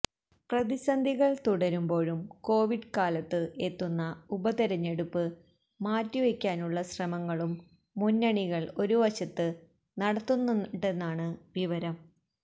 പ്രതിസന്ധികൾ തുടരുന്പോഴും കോവിഡ് കാലത്ത് എത്തുന്ന ഉപതെരഞ്ഞെടുപ്പ് മാറ്റിവയ്പിക്കാനുളള ശ്രമങ്ങളും മുന്നണികൾ ഒരുവശത്ത് നടത്തുന്നുണ്ടെന്നാണ് വിവരം